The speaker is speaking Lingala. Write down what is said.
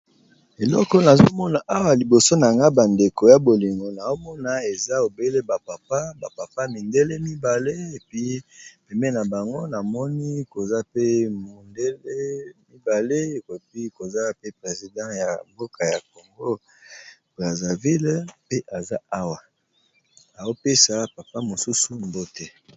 Eloko na zomona awa liboso na ga bandeko ya bolingo na omona eza ebele bapapa bapapa mindele mibale epi peme na bango na moni koza pe mindele mibale ekopi koza pe president ya mboka ya congo braseville pe aza awa aopesa papa mosusu mbote.